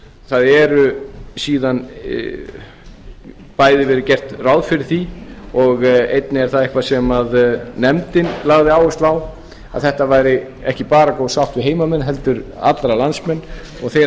það hefur bæði verið gert ráð fyrir því og einnig er það eitthvað sem nefndin lagði áherslu á að þetta væri ekki bara góð sátt við heimamenn heldur alla landsmenn og þeir